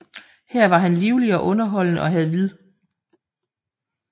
Her var han livlig og underholdende og havde vid